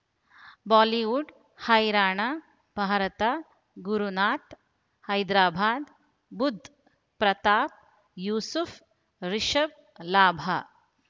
Bollywood ಹೈರಾಣ ಭಾರತ ಗುರುನಾಥ ಹೈದರಾಬಾದ್ ಬುಧ್ ಪ್ರತಾಪ್ ಯೂಸುಫ್ ರಿಷಬ್ ಲಾಭ